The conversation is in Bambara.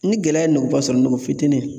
Ni gɛlɛya ye nogoba ,sɔrɔ ngɔ fitinin